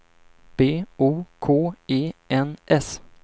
B O K E N S